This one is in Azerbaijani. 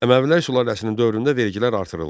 Əməvilər sülaləsinin dövründə vergilər artırıldı.